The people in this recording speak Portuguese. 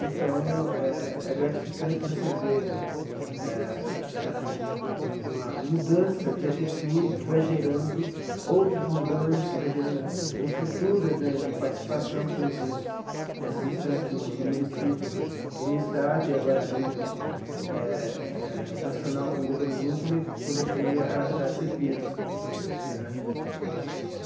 Então, é é gratificante você ver eh eh uma mudança de atitude que vai gerando outras mudanças, vai gerando estruturas né de participação, como são essas instâncias no no município e no estado, e agora a nível eh eh nacional com o governo Lula, quando ele quando ele cria a a CEPIR né.